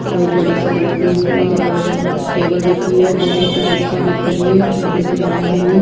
और एक बड़ी सी लंबी सी टेबल रखी हुई है। दो छोटी कुर्सियां रखी हुई है लकड़ी से बनाई हुई।